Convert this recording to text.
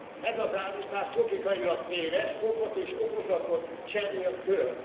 Ez az állítás logikailag téves, okot és okozatot cserél föl.